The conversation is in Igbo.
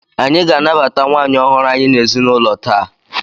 Anyị ga-anabata nwaanyị ọhụrụ anyị n'ezinụlọ taa!